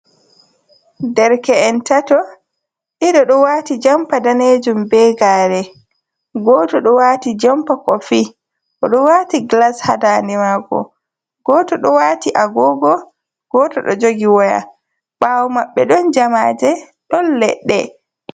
Nderke’en tato. Ɗiɗo ɗo waati jampa daneejum, be gaare, gooto ɗo waati jampa kofi, oɗo waati gilas haa ndaande maako. Gooto ɗo waati agogo, gooto ɗo jogi waya, ɓaawo maɓɓe ɗon jamaaje, ɗon leɗɗe.